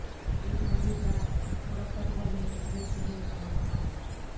ایک مزیدار مرکب گھر میں اتنی فینل کھانا پکانا